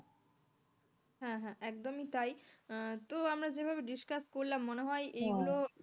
হ্যাঁ হ্যাঁ একদমই তাই আহ তো আমরা যেভাবে discuss করলাম মনে হয় এগুলো,